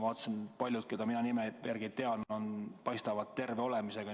Ma vaatasin, et paljud, keda mina tean haiged olevat, paistavad terve olemisega.